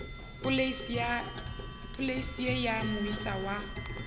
polase ye ya moisa wa